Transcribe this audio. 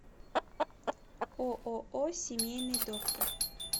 ооо семейный доктор